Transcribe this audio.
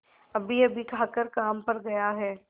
अभीअभी खाकर काम पर गया है